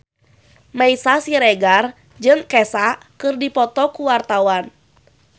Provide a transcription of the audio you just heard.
Meisya Siregar jeung Kesha keur dipoto ku wartawan